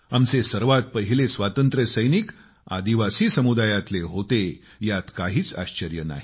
आमचे सर्वात पहिले स्वातंत्र्य सैनिक आदिवासी समुदायातले होते यात काहीच आश्चर्य नाही